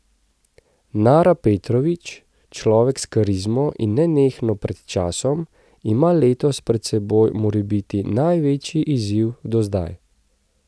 Nara Petrovič, človek s karizmo in nenehno pred časom, ima letos pred seboj morebiti največji izziv do zdaj.